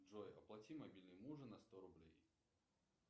джой оплати мобильный мужа на сто рублей